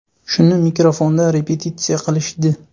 Shuni mikrofonda repetitsiya qilishdi.